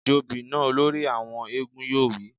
Jobì náà! Olórí àwọn éégún yóò wí